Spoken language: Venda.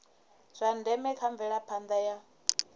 zwa ndeme kha mvelaphanda ya